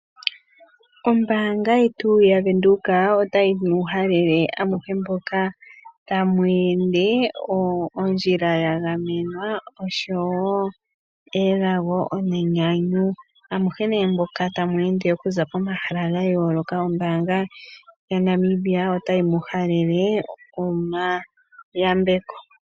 Ombaanga yetu yaVenduka otayi mu halele amuhe mboka tamu ende ondjila ya gamenwa oshowo elago nenyanyu .Amuhe nee mboka tamu ende okuza komahala ga yooloka ombaanga yaNamibia otayi muhalele omayambeko.